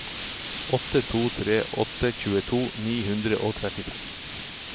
åtte to tre åtte tjueto ni hundre og trettifem